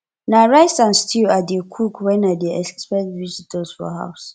na rice and stew i dey cook when i dey expect visitors for house